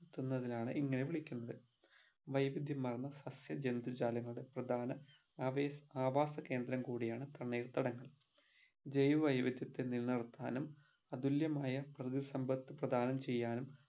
തുന്നതിനാണ് ഇങ്ങനെ വിളിക്കുന്നത് വൈവിധ്യമാർന്ന സസ്യജന്തു ജാലങ്ങളുടെ പ്രധാന അവേസ് ആവാസകേന്ദ്രം കൂടിയാണ് തണ്ണീർത്തടങ്ങൾ ജൈവവൈവിധ്യത്തിൽ നിന്ന് അതുല്യമായ പ്രകൃതിസമ്പത് പ്രധാനം ചെയ്യാനും